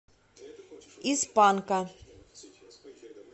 из панка